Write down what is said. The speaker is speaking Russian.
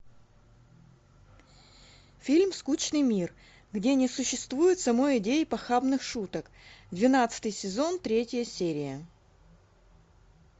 фильм скучный мир где не существует самой идеи похабных шуток двенадцатый сезон третья серия